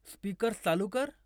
speakers चालू कर